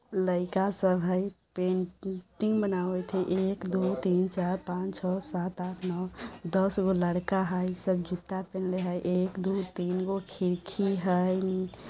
लइका सब हेय पेन टिंग बनावत हेय । एक दो तीन चार पाँच छ सात आठ नौ दस गो लड़का हेय। सब जूता पहनले हेय। एक-दो-तीन गो खिड़की हेय नी --